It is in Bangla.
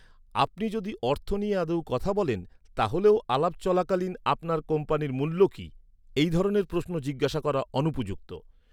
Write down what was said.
আপনি যদি অর্থ নিয়ে আদৌ কথা বলেন, তাহলেও আলাপ চলাকালীন "আপনার কোম্পানির মূল্য কি?", এই ধরনের প্রশ্ন জিজ্ঞাসা করা অনুপযুক্ত।